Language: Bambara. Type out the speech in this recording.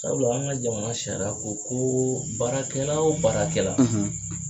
Sabula an ka jamana sariya ko ko baarakɛla o baarakɛla,